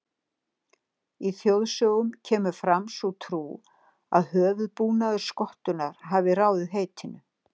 Í þjóðsögum kemur fram sú trú að höfuðbúnaður skottunnar hafi ráðið heitinu.